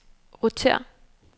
rotér